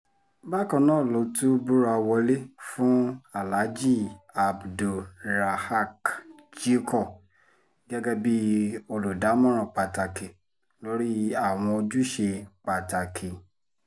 bákan náà ló tún búra wọlé fún aláàjì abdul-rahaq jickor gẹ́gẹ́ bíi olùdámọ̀ràn pàtàkì lórí àwọn ojúṣe pàtàkì